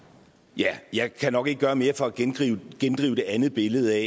ja jeg kan nok ikke gøre mere for at gendrive det andet billede